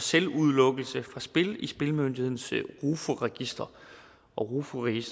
selvudelukkelse fra spil i spillemyndighedens register rofus